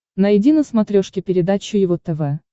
найди на смотрешке передачу его тв